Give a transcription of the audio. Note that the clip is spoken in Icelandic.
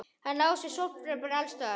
Hann Lási sofnar bara alls staðar.